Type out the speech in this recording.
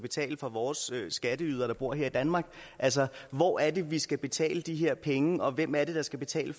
betale for vores skatteydere der bor her i danmark altså hvor er det vi skal betale de her penge og hvem er det der skal betale